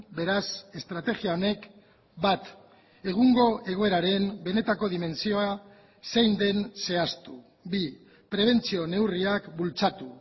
beraz estrategia honek bat egungo egoeraren benetako dimentsioa zein den zehaztu bi prebentzio neurriak bultzatu